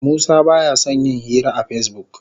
Musa ba ya son yin hira a Facebook.